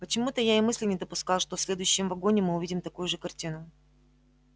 почему-то я и мысли не допускал что в следующем вагоне мы увидим такую же картину